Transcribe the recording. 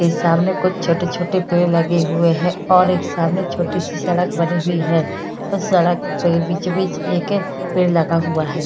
ये सामने कुछ छोटे-छोटे पेड़ लगे हुए है और एक सामने छोटी सी सड़क बनी हुई है। उस सड़क पे बीचो बीच एक पेड़ लगा हुआ है।